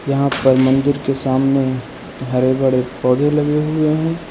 यहां पर मंदिर के सामने हरे भरे पौधे लगे हुए हैं।